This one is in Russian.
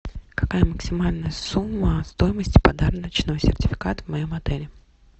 какая максимальная сумма стоимости подарочного сертификата в моем отеле